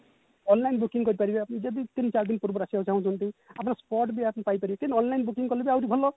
online booking କରିପାରିବେ ଯଦି ତିନି ଚାରି ଦିନ ଆସିବାକୁ ଚହୁଁଛନ୍ତି ଆପଣ sport ବି ଆସିକି ପାଇ ପାରିବେ କିନ୍ତୁ online booking କାଲେ ବି ଆହୁରି ଭଲ